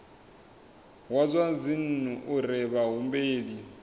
wa zwa dzinnu uri vhahumbeli